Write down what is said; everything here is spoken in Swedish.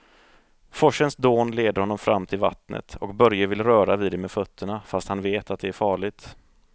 Forsens dån leder honom fram till vattnet och Börje vill röra vid det med fötterna, fast han vet att det är farligt.